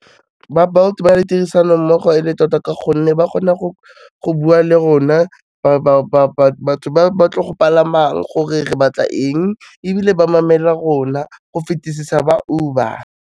Ba Bolt ba na le tirisanommogo e le tota ka gonne ba kgona go bua le rona batho ba ba tlo go palamang gore re batla eng, ebile ba mamela rona go fetisisa ba Uber.